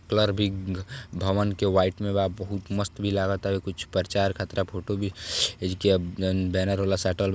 Colour भी भवन के वाइट मे बा बहुत मस्त भी लागत कुछ परचार खातिर फोटो भी एजकिया जोन बैनर होला साटल बा।